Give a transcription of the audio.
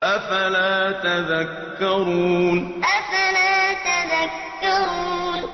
أَفَلَا تَذَكَّرُونَ أَفَلَا تَذَكَّرُونَ